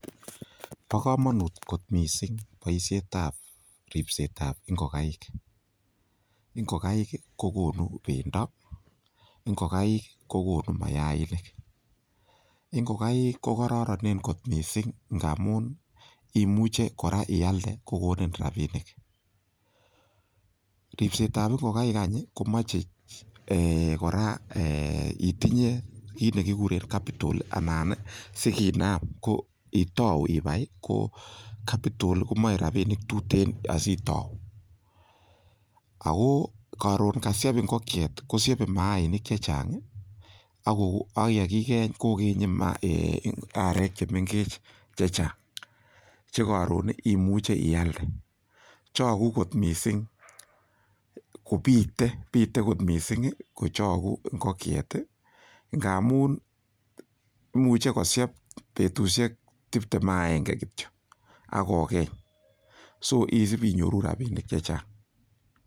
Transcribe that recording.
Bo kamanut kot mising boisietab ripsetab ingogaik. Ingogaik kogonu bendo, ingogaik kogonu mayaik. Ingogaik kogaroronen mising ngamu imuche kora ialde kogonin rapinik. Ripsetab ingogaik any ii komache ee! kora ee! itinye kit ne kiguren capital anan ii siginam itau ibai ko capital ko moe rapinik tuten asitau. Ago karun kasyep ingokiet, kosyebe maanik che chang ago ak yekigeny kogenye arek che mengech che chang che karun imuche ialde. Chagu kot mising kopite, pite kot mising ii kochogu ingokiet ii ngamun imuche kosiep betusiek tiptem ak agenge kityo ak kogeny. So isup inyoru rapinik che chang.